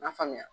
N'a faamuya